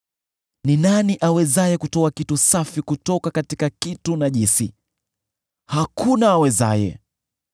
Ni nani awezaye kutoa kitu safi kutoka kitu najisi? Hakuna awezaye!